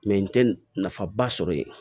n tɛ nafa ba sɔrɔ yen